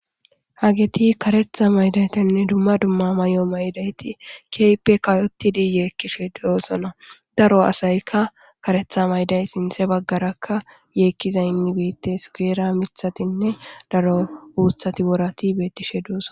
hageti karetha maydaytinne dumma dumma may7o maydayti keyppe kayotidi yeekkishe duosona daro asaykka karetha mayday sinthe baggarakka yeekkizaynni biittes geera mithatinne daro uuthati worati beettishe duoso